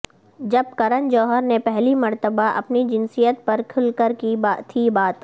جب کرن جوہر نے پہلی مرتبہ اپنی جنسیت پر کھل کر کی تھی بات